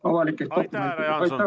Aitäh, härra Jaanson!